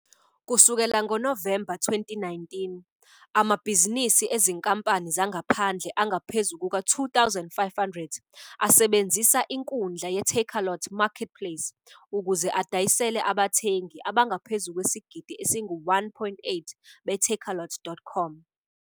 Kusukela ngoNovemba 2019, amabhizinisi ezinkampani zangaphandle angaphezu kuka-2500 asebenzisa inkundla ye-Takealot Marketplace ukuze adayisele abathengi abangaphezu kwesigidi esingu-1.8 be-takealot.com.